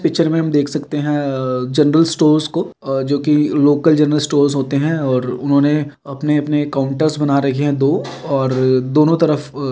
Picture में हम देख सकते हैं। अ जनरल स्टोर्स को जो कि लोकल जनरल स्टोर होते हैं और उन्होंने अपने अपने काउंटर्स बना रखे हुए हैं दो और दोनों तरफ --